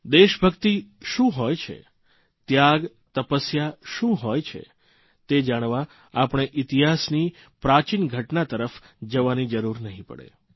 દેશભક્તિ શું હોય છે ત્યાગ તપસ્યા શું હોય છે તે જાણવા આપણે ઇતિહાસની પ્રાચીન ઘટના તરફ જવાની જરૂર નહીં પડે